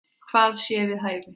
Hvað sé við hæfi.